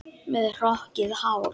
Með hrokkið hár.